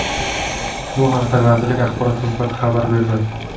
Bu haqda vazirlik Axborot xizmati xabar berdi.